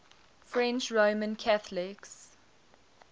french roman catholics